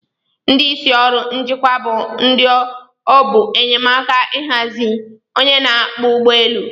Ndi isi orụ njikwa bu ndi obu enyeka hazie onye n'akpọ ugbọ elu.